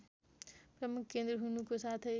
प्रमुख केन्द्र हुनुको साथै